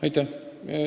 Aitäh!